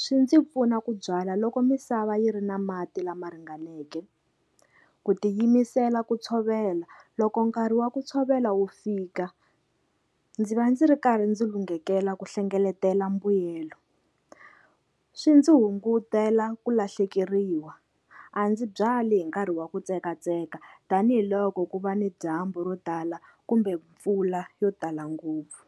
swi ndzi pfuna ku byala loko misava yi ri na mati lama ringaneke. Ku tiyimisela ku tshovela loko nkarhi wa ku tshovela wu fika ndzi va ndzi ri karhi ndzi lunghekele ku hlengeletela mbuyelo, swi ndzi hungutela ku lahlekeriwa a ndzi byali hi nkarhi wa ku tsekatseka tanihiloko ku va ni dyambu ro tala kumbe mpfula yo tala ngopfu.